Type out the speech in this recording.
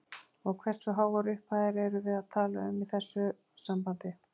Og hversu háar upphæðir erum við að tala um í þessu sambandi?